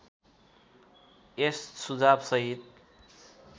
यस सुझाव सहित